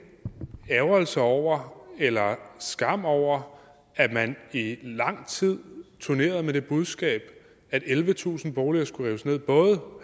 ærgrelse over eller skam over at man i lang tid turnerede med det budskab at ellevetusind boliger skulle rives ned både